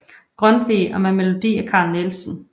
Grundtvig og med melodi af Carl Nielsen